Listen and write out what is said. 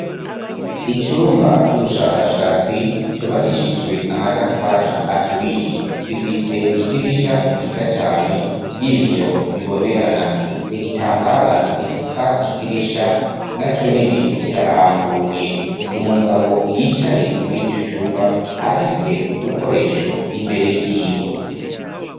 Icumba c'ubushakashatsi cubakishijwe amatafari aturiye, gifise idirisha ryiza cane ry'ibiyo bibonerana igitambara gifuka idirisha naco nyene kirarambuye umugabo yicaye muri ico cumba afise udukoresho imbere yiwe.